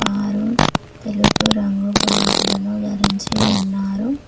ఆరు తెలుపు రంగు బ్లౌసులను ధరించి ఉన్నారు.